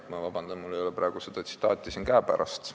Ma palun vabandust, sest mul ei ole praegu seda tsitaati siin käepärast.